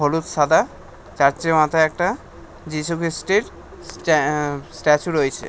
হলুদ সাদা চার্চ এর মাথায় একটা যিশুখ্রিস্টের স্ট্যাঅ্যা স্ট্যাচু রয়েছে।